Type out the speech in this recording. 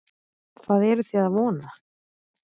Hvað eruð þið að vona?